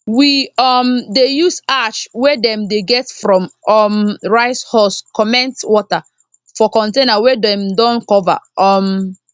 we um dey use ash wey dem dey get from um rice husk comment water for container wey dem don cover um